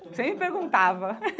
Sempre perguntava.